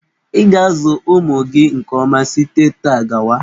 Ị ga-azụ ụmụ gị nke ọma site taa gawa!